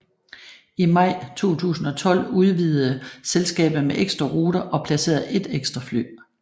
I maj 2012 udvidede selskabet med ekstra ruter og placerede ét ekstra fly